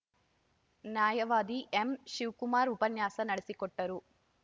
ನ್ಯಾಯವಾದಿ ಎಂ ಶಿವಕುಮಾರ್‌ ಉಪನ್ಯಾಸ ನಡೆಸಿಕೊಟ್ಟರು